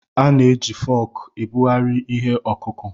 A na-eji fọọkụ ebugharị ihe ọkụkụ̀.